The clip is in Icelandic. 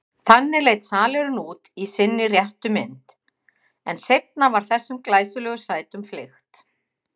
Þannig leit salurinn út í sinni réttu mynd, en seinna var þessum glæsilegu sætum fleygt.